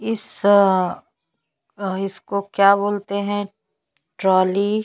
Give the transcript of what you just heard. इस इसको क्या बोलते है ट्रॉली --